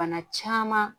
Bana caman